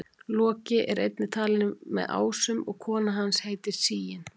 Loki er einnig talinn með ásum og kona hans heitir Sigyn.